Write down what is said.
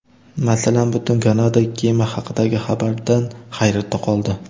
Masalan, butun Kanada kema haqidagi xabardan hayratda qoldi.